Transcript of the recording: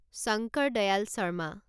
Shankar Dayal Sharma